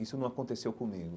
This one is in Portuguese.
Isso não aconteceu comigo.